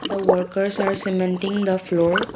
the workers are cementing the floor